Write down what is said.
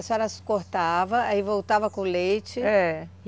A senhora cortava, aí voltava com leite. É